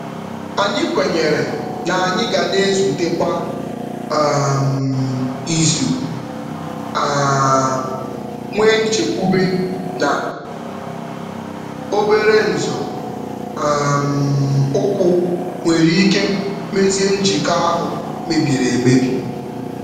Anyị kwenyere na anyị ga na-ezute kwa um izu um nwee nchekwube na obere nzọ um ụkwụ nwere ike mezie njikọ ahụ mebiri emebi.